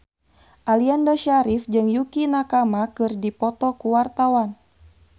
Aliando Syarif jeung Yukie Nakama keur dipoto ku wartawan